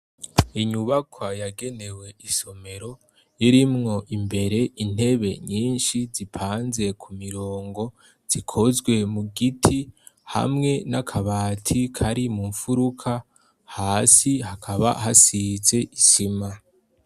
Inyubaka yagenewe isomero, irimwo imbere intebe nyinshi zipanze ku mirongo, zikozwe mu giti, hamwe n'akabati kari mu mfuruka, hasi hakaba hasize isima.